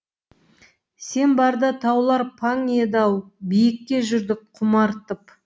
сен барда таулар паң еді ау биікке жүрдік құмартып